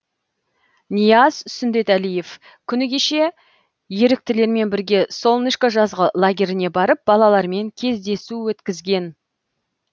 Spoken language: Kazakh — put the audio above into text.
нияз сүндетәлиев күні кеше еріктілермен бірге солнышко жазғы лагеріне барып балалармен кездесу өткізген